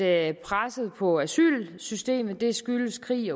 at presset på asylsystemet skyldes krig